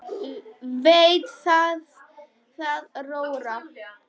Veit að það róar hann.